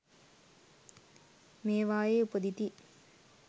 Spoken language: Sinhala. මේවායේ උපදිති